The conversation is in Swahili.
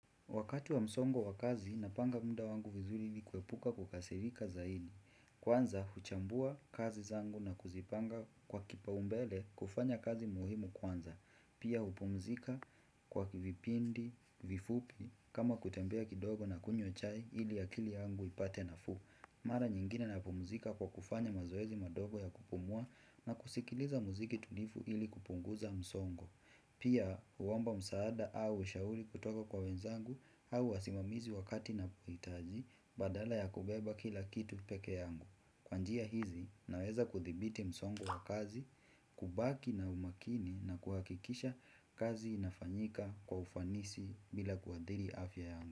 Wakatu wa msongo wa kazi, napanga muda wangu vizuri ili kuepuka kukasirika zaidi. Kwanza, huchambua kazi zangu na kuzipanga kwa kipaumbele kufanya kazi muhimu kwanza. Pia, hupumzika kwa kivipindi, vifupi, kama kutembea kidogo na kunywa chai ili akili yangu ipate nafuu. Mara nyingine napumzika kwa kufanya mazoezi madogo ya kupumua na kusikiliza muziki tulivu ili kupunguza msongo. Pia huomba msaada au ushauri kutoka kwa wenzangu au wasimamizi wakati napohitaji badala ya kubeba kila kitu peke yangu. Kwa njia hizi naweza kuthibiti msongo wa kazi, kubaki na umakini na kuhakikisha kazi inafanyika kwa ufanisi bila kuathiri afya yangu.